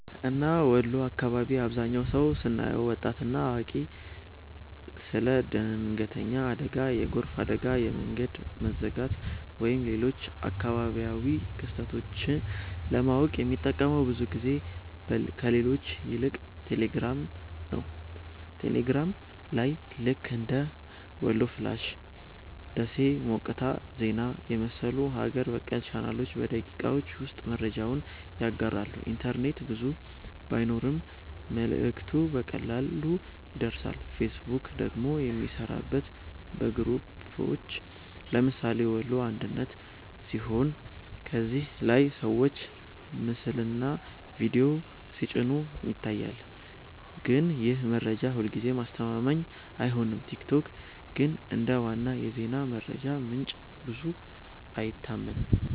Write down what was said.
እና ወሎ አካባቢ አብዛህኛው ሰው ስናየው( ወጣት እና አዋቂ) ስለ ድንገተኛ አደጋ፣ የጎርፍ አደጋ፣ የመንገድ መዘጋት ወይም ሌሎች አካባቢያዊ ክስተቶች ለማወቅ የሚጠቀመው ብዙ ጊዜ ከሌሎች ይልቅ ቴሌግራም ነው። ቴሌግራም ላይ ልክ እንደ "ወሎ ፍላሽ''፣ “ደሴ ሞቃት ዜና” የመሰሉ ሀገር በቀል ቻናሎች በደቂቃዎች ውስጥ መረጃውን ያጋራሉ፤ ኢንተርኔት ብዙ ባይኖርም መልእክቱ በቀላሉ ይደርሳል። ፌስቡክ ደግሞ የሚሠራበት በግሩፖች (ለምሳሌ “ወሎ አንድነት”) ሲሆን ከዚያ ላይ ሰዎች ምስልና ቪዲዮ ሲጭኑ ይታያል፣ ግን ይህ መረጃ ሁልጊዜ አስተማማኝ አይሆንም። ቲክቶክ ግን እንደ ዋና የዜና መረጃ ምንጭ ብዙ አይታመንም።